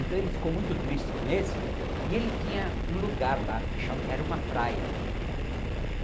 Então ele ficou muito triste com esse e ele tinha um lugar lá que cha era uma praia.